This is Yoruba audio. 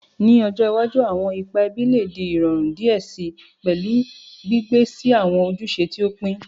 Ni ojo iwaju, awọn ipa ẹbi le di irọrun diẹ sii, pẹlu gbigbe si awọn ojuse ti o pin.